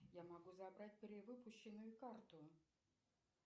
я могу забрать перевыпущенную карту